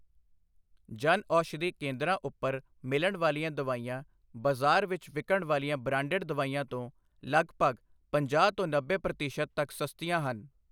ਜਨ ਔਸ਼ਧੀ ਕੇਂਦਰਾਂ ਉੱਪਰ ਮਿਲਣ ਵਾਲੀਆਂ ਦਵਾਈਆਂ ਬਾਜ਼ਾਰ ਵਿੱਚ ਵਿਕਣ ਵਾਲੀਆਂ ਬਰਾਂਡੇਡ ਦਵਾਈਆਂ ਤੋਂ ਲੱਗਭਗ ਪੰਜਾਹ ਤੋਂ ਨੱਬੇ ਪ੍ਰਤੀਸ਼ਤ ਤੱਕ ਸਸਤੀਆਂ ਹਨ।